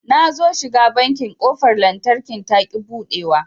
Nazo shiga banki ƙofar lantarkin taƙi buɗewa